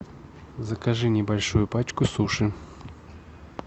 закажи небольшую пачку суши